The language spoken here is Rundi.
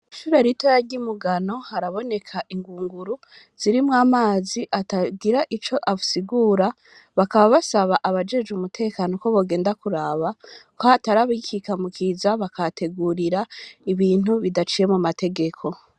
Ishure ritoya ry'i Mugano, haraboneka ingunguru zirimwo amazi atagira ico asigura, bakaba basaba abajejwe umutekano ko bogenda kuraba ko hatari abikika mu kiza bakahategurira ibintu bidaciye mu m'amategeko.